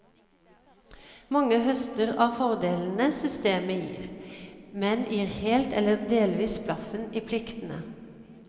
Mange høster av fordelene systemet gir, men gir helt eller delvis blaffen i pliktene.